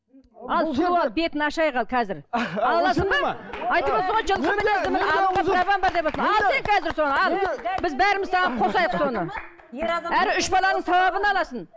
ал сол ал бетін ашайық ал қазір біз бәріміз саған қосайық соны әрі үш баланың сауабын аласың